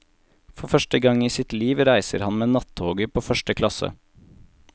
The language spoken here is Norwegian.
For første gang i sitt liv reiser han med nattoget på første klasse.